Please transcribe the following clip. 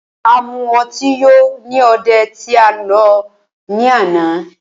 A mu ọtí yó ní òde tí a lọ ní àná.